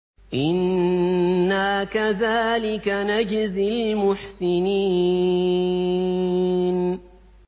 إِنَّا كَذَٰلِكَ نَجْزِي الْمُحْسِنِينَ